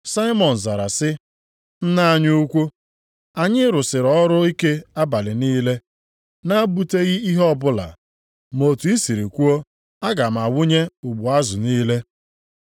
Saimọn zara sị, “Nna anyị ukwuu, anyị rụsịrị ọrụ ike abalị niile na-egbutaghị ihe ọbụla, ma otu i sịrị kwuo, aga m awụnye ụgbụ azụ niile.”